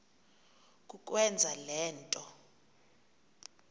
kukwenza le nto